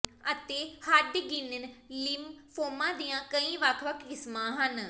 ਅਤੇ Hodgkin lymphoma ਦੀਆਂ ਕਈ ਵੱਖ ਵੱਖ ਕਿਸਮਾਂ ਹਨ